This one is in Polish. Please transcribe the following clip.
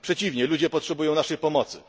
Przeciwnie, ludzie potrzebują naszej pomocy.